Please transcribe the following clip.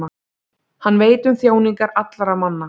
Hann veit um þjáningar allra manna.